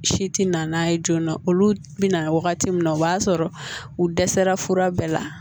Si ti na n'a ye joona olu bi na wagati min na o b'a sɔrɔ u dɛsɛra fura bɛɛ la